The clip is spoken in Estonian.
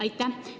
Aitäh!